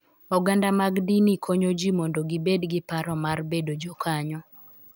Oganda mag dini konyo ji mondo gibed gi paro mar bedo jokanyo